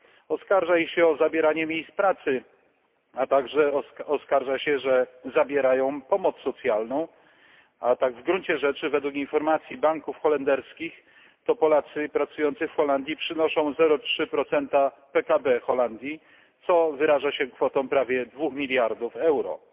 Oskarża się ich o zabieranie miejsc pracy, a także oskarża się, że zabierają pomoc socjalną, a tak w gruncie rzeczy według informacji banków holenderskich to Polacy pracujący w Holandii przynoszą 0,3 PKB Holandii, co wyraża się kwotą prawie 2 mld euro.